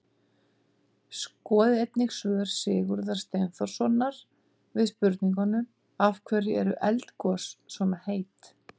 Skoðið einnig svör Sigurðar Steinþórssonar við spurningunum: Af hverju eru eldgos svona heit?